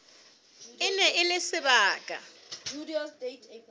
e ne e le sebaka